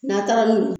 N'a taara n'u ye